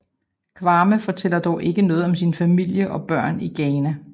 Kwame fortæller dog ikke noget om sin familie og børn i Ghana